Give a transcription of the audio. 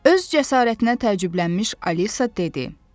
Öz cəsarətinə təəccüblənmiş Alisa dedi: